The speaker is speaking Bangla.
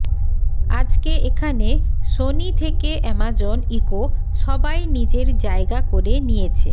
আজকে এখানে সোনি থেকে অ্যামাজন ইকো সবাই নিজের যায়গা করে নিয়েছে